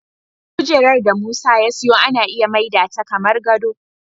Kujerar da Musa ya siyo ana iya maida ta kamar gado.